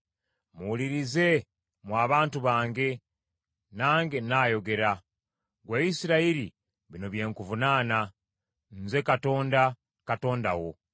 “Muwulirize, mmwe abantu bange, nange nnaayogera. Ggwe Isirayiri bino bye nkuvunaana: Nze Katonda, Katonda wo.